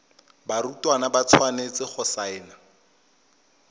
barutwana ba tshwanetse go saena